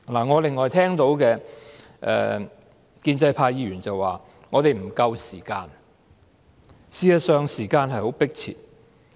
我另外聽到建制派議員說我們沒有足夠時間，而事實上，時間是十分迫切的。